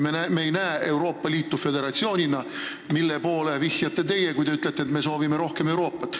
Me ei näe Euroopa Liitu föderatsioonina, millele viitate teie, kui te ütlete, et me soovime rohkem Euroopat.